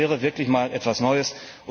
Das wäre wirklich mal etwas Neues.